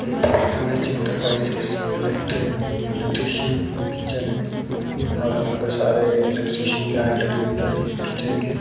एक M H enterprises electric electrician kitchen है और यहां पे सारे इलेक्ट्रीशियन के आइटम मिलते हैं किचन के।